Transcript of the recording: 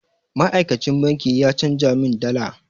Ma'aikacin banki ya canja min dala.